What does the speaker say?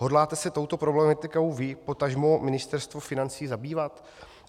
Hodláte se touto problematikou vy, potažmo Ministerstvo financí zabývat?